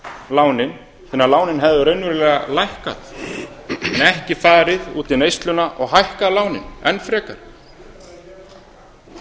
lánin þannig að lánin hefðu raunverulega lækkað en ekki farið út í neysluna og hækkað lánin enn frekar það